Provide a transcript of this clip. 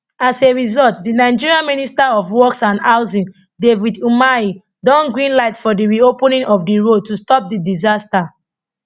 as a result di nigerian minister of works and housing david umahi don greenlight for di reopening of di road to stop di disaster